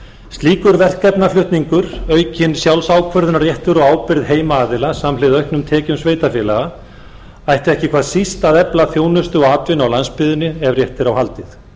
slíkur verkefnaflutningur aukinn sjálfsákvörðunarréttur og ábyrgð heimaaðila samhliða auknum tekjum sveitarfélaga ætti ekki hvað síst að efla þjónustu og atvinnu á landsbyggðinni ef rétt er á haldið